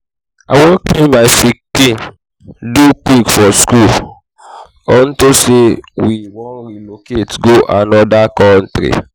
i wan make my pikin do quick for school unto say we wan relocate go another country